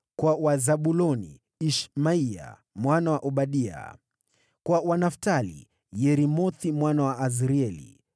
kwa Wazabuloni: Ishmaya mwana wa Obadia; kwa Wanaftali: Yeremothi mwana wa Azrieli;